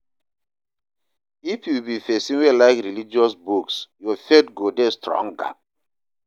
If you be pesin wey like religious books, your faith go dey stronger.